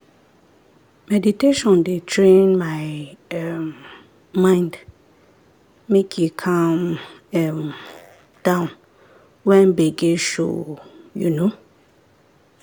meditation dey train my um mind make e calm um down when gbege show. um